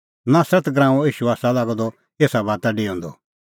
तिन्नैं खोज़अ नासरत नगरीओ ईशू आसा लागअ द एसा बाता डेऊंदअ